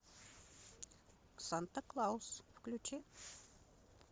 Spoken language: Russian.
санта клаус включи